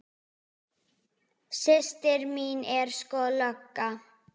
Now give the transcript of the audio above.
Systir mín er sko lögga